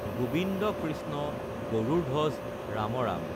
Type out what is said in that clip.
Gobind Krishna Garudadhwaja Ramram